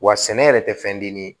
Wa sɛnɛ yɛrɛ tɛ fɛnden ye